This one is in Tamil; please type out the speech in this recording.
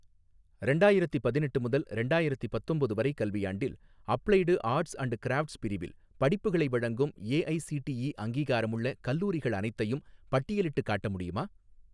ரெண்டாயிரத்தி பதினெட்டு முதல் ரெண்டாயிரத்தி பத்தொம்போது வரை கல்வியாண்டில், அப்ளைடு ஆர்ட்ஸ் அன்ட் கிராஃப்ட்ஸ் பிரிவில் படிப்புகளை வழங்கும் ஏஐஸிடிஇ அங்கீகாரமுள்ள கல்லூரிகள் அனைத்தையும் பட்டியலிட்டுக் காட்ட முடியுமா?